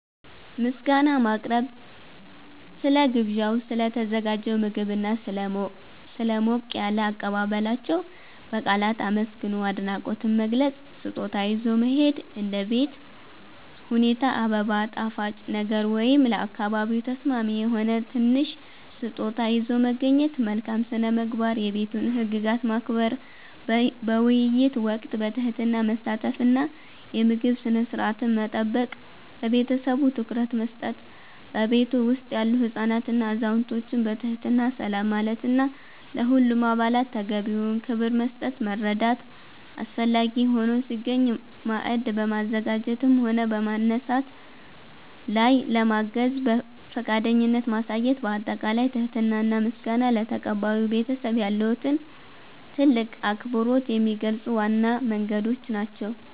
ምስጋና ማቅረብ፦ ስለ ግብዣው፣ ስለ ተዘጋጀው ምግብና ስለ ሞቅ ያለ አቀባበላቸው በቃላት አመስግኖ አድናቆትን መግለጽ። ስጦታ ይዞ መሄድ፦ እንደ ቤት ሁኔታ አበባ፣ ጣፋጭ ነገር ወይም ለአካባቢው ተስማሚ የሆነ ትንሽ ስጦታ ይዞ መገኘት። መልካም ስነ-ምግባር፦ የቤቱን ህግጋት ማክበር፣ በውይይት ወቅት በትህትና መሳተፍ እና የምግብ ስነ-ስርዓትን መጠበቅ። ለቤተሰቡ ትኩረት መስጠት፦ በቤቱ ውስጥ ያሉ ህፃናትንና አዛውንቶችን በትህትና ሰላም ማለትና ለሁሉም አባላት ተገቢውን ክብር መስጠት። መርዳት፦ አስፈላጊ ሆኖ ሲገኝ ማዕድ በማዘጋጀትም ሆነ በማንሳት ላይ ለማገዝ ፈቃደኝነትን ማሳየት። ባጠቃላይ ትህትና እና ምስጋና ለተቀባዩ ቤተሰብ ያለዎትን ትልቅ አክብሮት የሚገልጹ ዋና መንገዶች ናቸው።